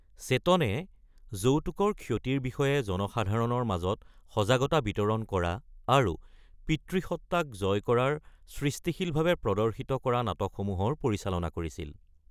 চেতনে যৌতুকৰ ক্ষতিৰ বিষয়ে জনসাধাৰণৰ মাজত সজাগতা বিতৰণ কৰা আৰু পিতৃসত্তাক জয় কৰাৰ সৃষ্টিশীলভাৱে প্ৰদৰ্শিত কৰা নাটকসমূহৰ পৰিচালনা কৰিছিল।